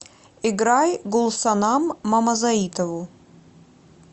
играй гулсанам мамазоитову